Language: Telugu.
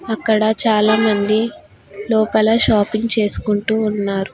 అక్కడ చాలామంది లోపల షాపింగ్ చేసుకుంటూ ఉన్నారు.